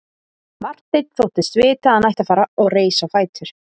Marteinn þóttist vita að hann ætti að fara og reis á fætur.